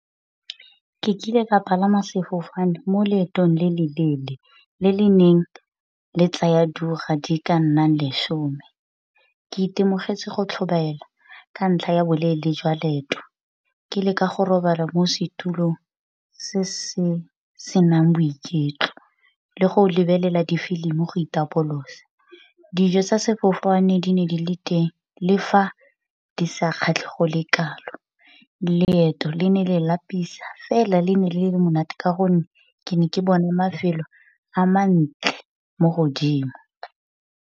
Ke kile ka palama sefofane mo leetong le le leele le le neng le tsaya diura di ka nnang lesome. Ke itemogetse go tlhobaela ka ntlha ya boleele jwa leeto, ke leka go robala mo setulong se se senang boiketlo le go lebelela difilimi go itapolosa. Dijo tsa sefofane di ne di le teng le fa di sa kgatle go le kalo, leeto le ne le lapisa fela le ne le le monate ka gonne ke ne ke bona mafelo a mantle mo godimo.